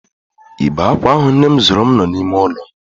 Igbe akwa ahụ nnem zụụrum nọ n'ime ụlọ m.